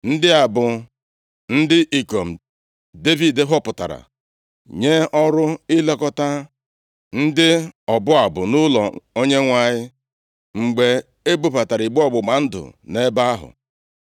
Ndị a bụ ndị ikom Devid họpụtara nye ọrụ ilekọta ndị ọbụ abụ nʼụlọ Onyenwe anyị mgbe e bubatara igbe ọgbụgba ndụ nʼebe ahụ.